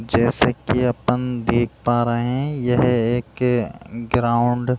जैसे की अपन देख पा रहे है यह एक ग्राउंड --